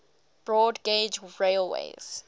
broad gauge railways